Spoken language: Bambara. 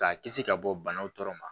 K'a kisi ka bɔ banaw tɔɔrɔ ma